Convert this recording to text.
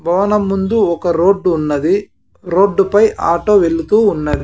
భవనం ముందు ఒక రోడ్డు ఉన్నది రోడ్డు పై ఆటో వెళుతూ ఉన్నది.